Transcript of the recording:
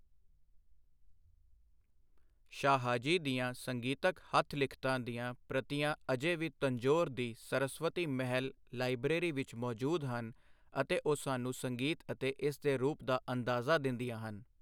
ਸ਼ਾਹਾਜੀ ਦੀਆਂ ਸੰਗੀਤਕ ਹੱਥ ਲਿਖਤਾਂ ਦੀਆਂ ਪ੍ਰਤਿਆਂ ਅਜੇ ਵੀ ਤੰਜੋਰ ਦੀ ਸਰਸਵਤੀ ਮਹਿਲ ਲਾਇਬ੍ਰੇਰੀ ਵਿਚ ਮੌਜੂਦ ਹਨ ਅਤੇ ਉਹ ਸਾਨੂੰ ਸੰਗੀਤ ਅਤੇ ਇਸ ਦੇ ਰੂਪ ਦਾ ਅੰਦਾਜ਼ਾ ਦਿੰਦੀਆਂ ਹਨ।